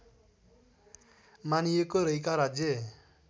मानिएको रैका राज्य